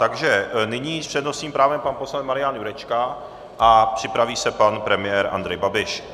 Takže nyní s přednostním právem pan poslanec Marian Jurečka a připraví se pan premiér Andrej Babiš.